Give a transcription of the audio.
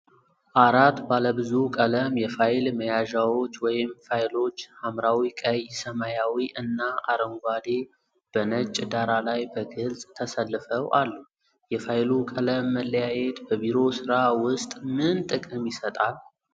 አራት ባለብዙ ቀለም የፋይል መያዣዎች (ፋይሎች) - ሐምራዊ፣ ቀይ፣ ሰማያዊ እና አረንጓዴ - በነጭ ዳራ ላይ በግልጽ ተሰልፈው አሉ። የፋይሉ ቀለም መለያየት በቢሮ ሥራ ውስጥ ምን ጥቅም ይሰጣል?